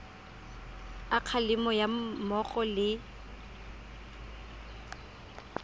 a kgalemo ga mmogo le